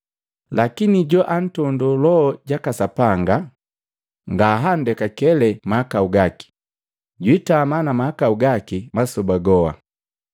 lakini joantondo Loho jaka Sapanga, Sapanga ngahandekakele mahakau gaki, jwiitama na mahakau gaki masoba goa.”